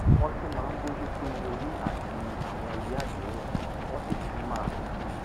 wọ́n tún máa ń bójú tó owó orí àti àwọn ìwé àdéhùn wọ́n sì tún máa